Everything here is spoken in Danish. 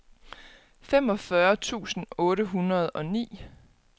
femogfyrre tusind otte hundrede og ni